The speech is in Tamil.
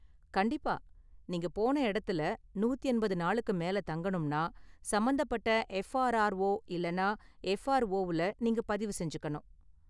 கண்டிப்பா, நீங்க போன இடத்துல நூத்தி எண்பது நாளுக்கு மேலே தங்கணும்னா, சம்பந்தப்பட்ட எஃப்ஆர்ஆர்ஓ இல்லனா எஃப்ஆர்ஓவுல நீங்க பதிவு செஞ்சுக்கணும்.